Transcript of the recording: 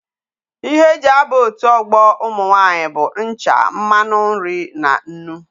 Ihe eji aba otu ogbo umu nwaanyi bu ncha, mmanu nri na nnu.